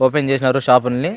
open చేశారు shop లన్ని --